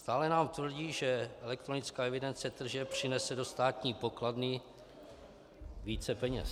Stále nám tvrdí, že elektronická evidence tržeb přinese do státní pokladny více peněz.